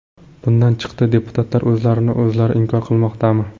Bundan chiqdi deputatlar o‘zlarini o‘zlari inkor qilmoqdami?